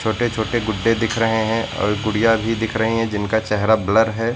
छोटे छोटे गुड्डे दिख रहे हैं और गुड़िया भी दिख रही हैं जिनका चेहरा ब्लर है।